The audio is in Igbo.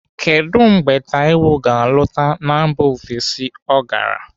Kedụ mgbe Taiwo ga-alọta na mba ofesi ọ gara?